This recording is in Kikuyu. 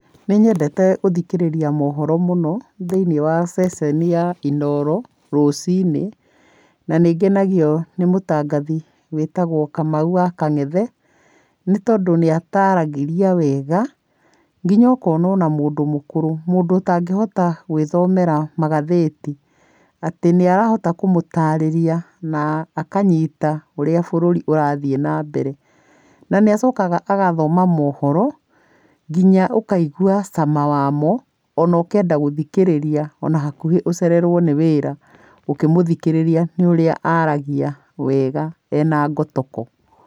Nĩ nyendete gũthikĩrĩria mohoro mũno thĩiniĩ wa ceceni ya Inooro rũciinĩ, na nĩ ngenagio nĩ mũtangathi wĩtagwo Kamau wa Kang'ethe, nĩ tondũ nĩ ataragĩria wega, nginya ũkona ona mũndũ mũkũrũ, mũndũ ũtangĩhota gwĩthomera magathĩti, atĩ nĩ arahota kũmũtarĩria na akanyita ũrĩa bũrũri ũrathĩĩ na mbere, na nĩ acokaga agathoma mohoro, nginya ũkaigua cama wamo, ona ũkenda gũthikĩrĩria ona hakuhĩ ũcererwo nĩ wĩra ũkĩmũthikĩrĩria nĩ ũrĩa aragia wega ena ngotoko.